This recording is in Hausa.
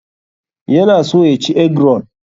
Yana so ya ci egg roll.